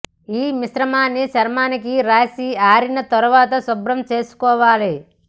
ఈ మిశ్రమాన్ని చర్మానికి రాసి ఆరిన తర్వాత శుభ్రం చేసుకోవాలి